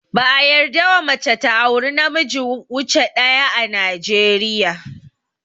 Ba a yarda wa mace ta auri na miji wuce daya ã Najeriya.